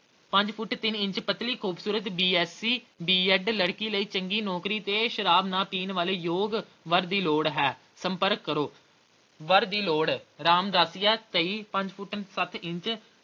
ਪੰਜ ਫੁੱਟ ਤਿੰਨ ਇੰਚ ਪਤਲੀ ਖੂਬਸੂਰਤ B. Sc, B. ED ਚੰਗੀ ਨੌਕਰੀ ਤੇ ਸ਼ਰਾਬ ਨਾ ਪੀਣ ਵਾਲੇ ਯੋਗ ਵਰ ਦੀ ਲੋੜ ਹੈ ਸੰਪਰਕ ਕਰੋ। ਵਰ ਦੀ ਲੋੜ ਰਾਮਦਾਸੀਆ ਤੇਂਈ ਪੰਜ ਫੁੱਟ ਸੱਤ ਇੰਚ